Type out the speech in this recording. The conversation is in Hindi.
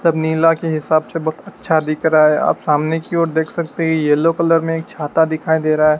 सब नीला के हिसाब से बहुत अच्छा दिख रहा है आप सामने की ओर देख सकते है येलो कलर में एक छाता दिखाई दे रहा है।